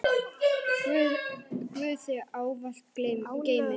Guð þig ávallt geymi.